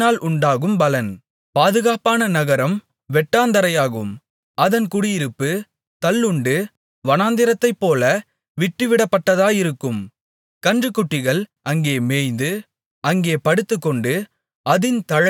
பாதுகாப்பான நகரம் வெட்டாந்தரையாகும் அந்த குடியிருப்பு தள்ளுண்டு வனாந்திரத்தைப்போல விட்டுவிடப்பட்டதாயிருக்கும் கன்றுக்குட்டிகள் அங்கே மேய்ந்து அங்கே படுத்துக்கொண்டு அதின் தழைகளைத் தின்னும்